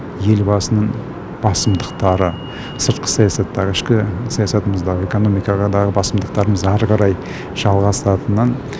елбасының басымдықтары сыртқы саясаттағы ішкі саясатымыздағы экономикадағы басымдықтарымыз әрі қарай жалғастыратынын